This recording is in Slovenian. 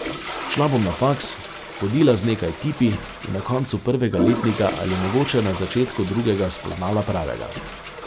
Šla bom na faks, hodila z nekaj tipi in na koncu prvega letnika ali mogoče na začetku drugega spoznala pravega.